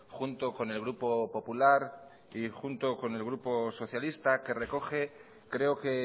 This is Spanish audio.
junto con el grupo popular y junto al grupo socialista que recoge creo que